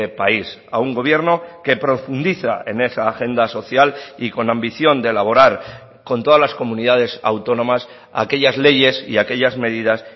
país a un gobierno que profundiza en esa agenda social y con ambición de elaborar con todas las comunidades autónomas aquellas leyes y aquellas medidas